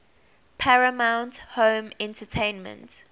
paramount home entertainment